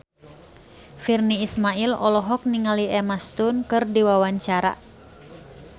Virnie Ismail olohok ningali Emma Stone keur diwawancara